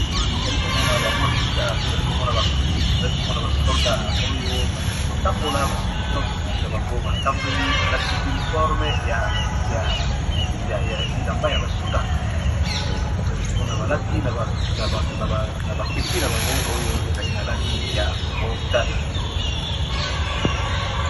Awa tozomona ba soda ya mpiko baza kosala defiler na bala bala. Balati bilamba na bango ya ba soda, bere na mutu eza na langi ya motane, basimbi munduki na maboko.